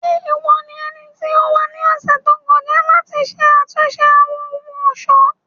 Ṣe iwọ ni ẹniti o wa ni ọsẹ to kọja lati ṣe atunṣe Awọn ohun-ọṣọ?